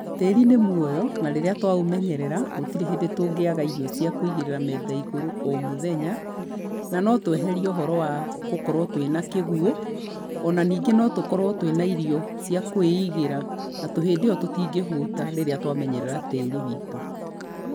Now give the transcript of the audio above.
Tĩĩri nĩ mũoyo na rĩrĩa twaũmenyerera, gũtirĩ hĩndĩ tũngĩaga irio cia kũigĩrĩra metha igũrũ o mũthenya, na no tũeherie ũhoro wa kũkorwo twĩna kĩguũ. O na ningĩ no tũkorwo twĩna irio cia kwĩigĩra na hĩndĩ ĩyo tũtingĩhũta rĩrĩa twamenyerera tĩĩri witũ.